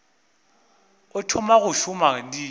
o thoma go šoma di